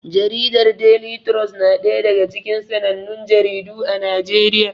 Jaridar Deli trus na ɗaya daga cikin sanannun jaridu a Najeriya.